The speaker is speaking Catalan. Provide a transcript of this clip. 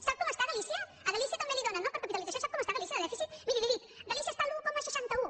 sap com està galícia a galícia també li dóna no per capitalització sap com està galícia de dèficit miri li ho dic galícia està a l’un coma seixanta un